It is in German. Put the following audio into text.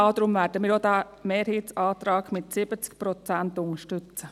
Deshalb werden wir auch den Mehrheitsantrag mit den 70 Prozent unterstützen.